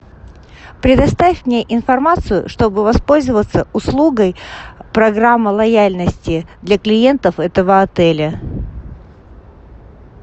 предоставь мне информацию чтобы воспользоваться услугой программа лояльности для клиентов этого отеля